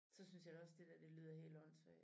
Så synes jeg da også det dér det lyder helt åndssvagt